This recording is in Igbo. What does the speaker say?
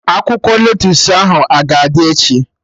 Akwụkwọ lettusu ahụ a ga-adị echi?